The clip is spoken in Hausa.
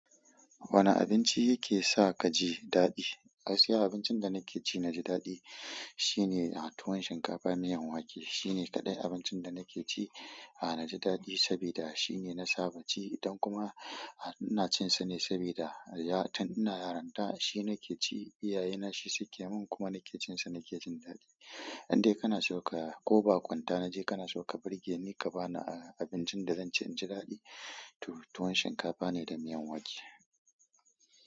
Wane abinci yake sa kaji daɗi? Gaskiya abincin da nake ci na ji daɗi shine tuwon shinkafa da miyan wake. Shine kaɗai abincin da nake ci a na ji daɗi saboda shine na saba ci, don kuma ina cin sa ne saboda tun ina yaran ta shi nake ci. Iyayena shi suke min kuma nake cin sa nake jin daɗi. Indai kana so ka ko baƙunta naje kana so ka birge ni ka ba ni abincin da zan ci in ji daɗi, tuwon shinkafa ne da miyan wake.